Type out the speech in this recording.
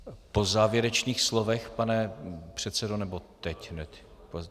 Po závěrečných slovech, pane předsedo, nebo teď hned?